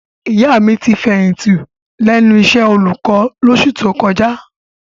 Ìyá mi ti fẹ̀yìntì lẹ́nu iṣẹ́ olùkọ́ lóṣù tó kọjá.